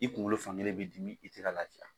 I kunkolo fankelen b'i dimi i tɛ lafiya